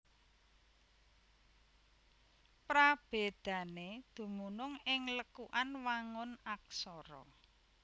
Prabédané dumunung ing lekukan wangun Aksara